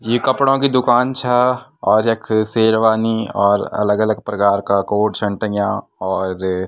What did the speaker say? ये कपड़ों की दूकान छा और यख शेरवानी और अलग अलग प्रकार का कोट छन टंग्या और --